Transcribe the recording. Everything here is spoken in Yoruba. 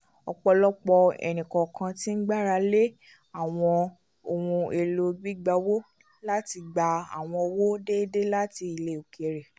ọpọlọpọ ẹni-kọọkan tí n gbára lé awọn ohùn èlò gbígbà owó láti gbà àwọn owó déédé láti ilẹ òkèèrè